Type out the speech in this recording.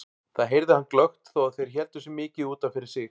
Það heyrði hann glöggt þó þeir héldu sig mikið út af fyrir sig.